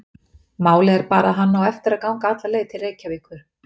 Málið er bara að hann á eftir að ganga alla leið til Reykjavíkur.